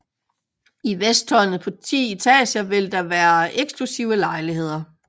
I vesttårnet på 10 etager vil der være eksklusive lejligheder